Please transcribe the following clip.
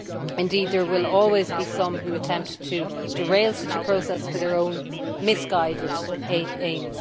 Indeed there will always be some who attempt to derail such a process for their own misguided ends.